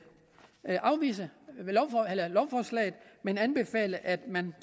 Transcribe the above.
jeg afvise lovforslaget men anbefale at man